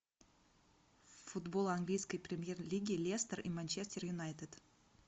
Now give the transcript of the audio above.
футбол английской премьер лиги лестер и манчестер юнайтед